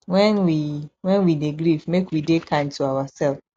when we when we dey grief make we dey kind to ourself